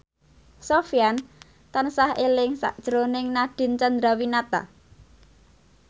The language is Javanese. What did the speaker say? Sofyan tansah eling sakjroning Nadine Chandrawinata